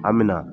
An me na